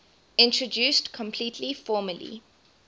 introduced completely formally